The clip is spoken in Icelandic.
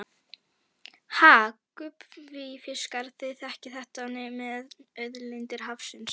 Ha gúbbífiskar, þið þekkið þetta með auðlindir hafsins.